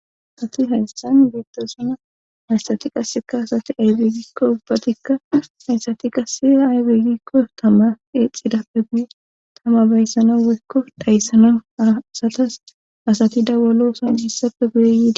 Asati hayssan beettosana haysati qasseka asati aybe gikko ubbatikka haysati qasse aybeegikko tama eexidappe guye tama bayssana woykko dhayssana asatas asati dawalosan hessappe guye yidi.